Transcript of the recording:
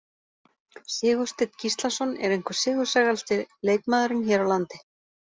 Sigursteinn Gíslason er einhver sigursælasti leikmaðurinn hér á landi.